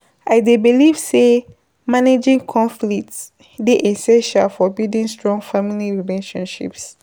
I dey believe say managing conflicts dey essential for building strong family relationships.